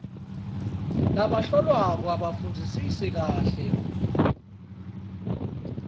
labahlolwako abafundzisise kahle